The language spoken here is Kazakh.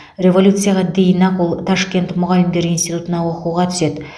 революцияға дейін ақ ол ташкент мұғалімдер институтына оқуға түседі